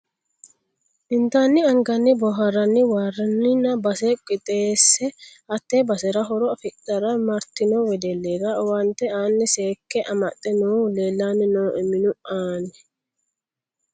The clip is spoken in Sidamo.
Intanni anganni booharanni waarinanni base qixxeese hate basera horo affidhara martino wedellira owaante aani seekke amaxe noohu leellanni no minu anni.